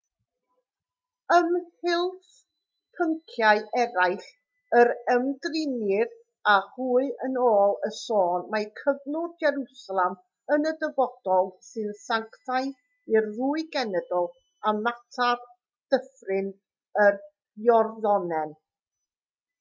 ymhlith pynciau eraill yr ymdrinnir â hwy yn ôl y sôn mae cyflwr jerwsalem yn y dyfodol sy'n sanctaidd i'r ddwy genedl a mater dyffryn yr iorddonen